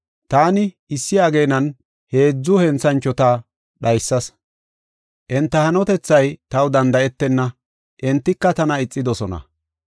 Taani issi ageenan heedzu henthanchota dhaysas. Enta hanotethay taw danda7etenna; entika tana ixidosona.